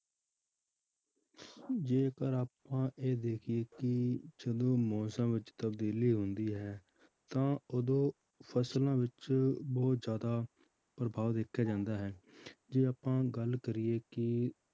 ਜੇਕਰ ਆਪਾਂ ਇਹ ਦੇਖੀਏ ਕਿ ਜਦੋਂ ਮੌਸਮ ਵਿੱਚ ਤਬਦੀਲੀ ਹੁੰਦੀ ਹੈ ਤਾਂ ਉਦੋਂ ਫਸਲਾਂ ਵਿੱਚ ਬਹੁਤ ਜ਼ਿਆਦਾ ਪ੍ਰਭਾਵ ਦੇਖਿਆ ਜਾਂਦਾ ਹੈ ਜੇ ਆਪਾਂ ਗੱਲ ਕਰੀਏ ਕਿ